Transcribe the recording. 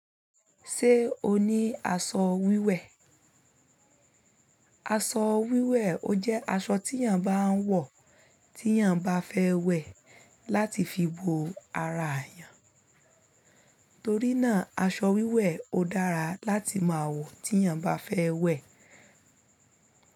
Ṣé o ní aṣọ wíwẹ̀? Aṣọ wíwẹ̀ ó jẹ́ aṣọ tí èèyàn bá ń wọ̀, tí èèyàn bá fẹ́ wẹ̀ láti fi bo ara èèyàn torí náà aṣọ wíwẹ̀ ó dára láti máa wọ̀ tí èèyàn bá fẹ́ wẹ̀